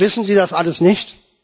Wissen Sie das alles nicht?